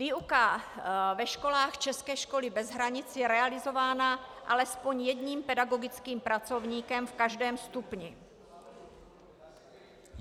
Výuka ve školách České školy bez hranic je realizována alespoň jedním pedagogickým pracovníkem v každém stupni.